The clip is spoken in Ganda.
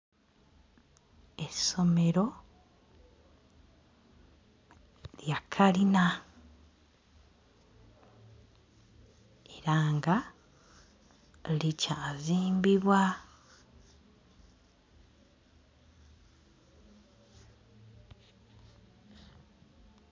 Essomero lya kalina era nga likyazimbibwa.